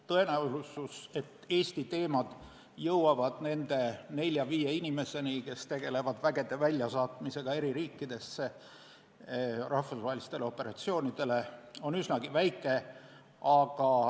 Tõenäosus, et Eesti teemad jõuavad nende nelja-viie inimeseni, kes tegelevad vägede väljasaatmisega eri riikidesse rahvusvahelistele operatsioonidele, on üsna väike.